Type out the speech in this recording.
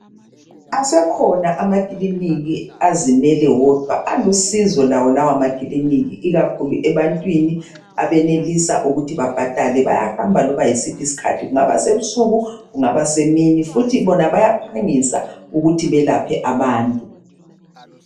Asekhona amakiliniki azimele wodwa alusizo lawo lawa makilinika ikakhulu ebantwini abenelisa ukuthi babhadale bayahamba loba yisiphi isikhathi kungaba sebusuku kungaba semini futhi bona bayaphangisa ukuthi belaphe abantu .